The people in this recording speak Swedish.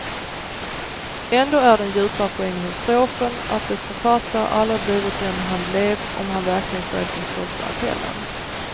Ändå är den djupare poängen hos strofen, att dess författare aldrig blivit den han blev om han verkligen följt den stolta appellen.